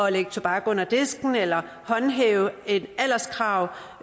at lægge tobakken under disken eller at håndhæve et alderskrav